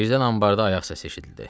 Birdən anbarda ayaq səsi eşidildi.